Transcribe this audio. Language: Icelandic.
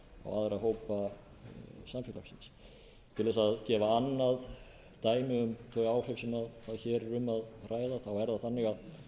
aðra hópa samfélagsins til að gefa annað dæmi um þau áhrif sem hér er um að ræða þá er það þannig að